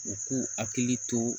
U k'u hakili to